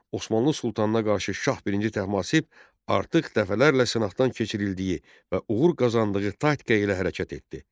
Osmanlı sultanına qarşı şah birinci Təhmasib artıq dəfələrlə sınaqdan keçirildiyi və uğur qazandığı taktika ilə hərəkət etdi.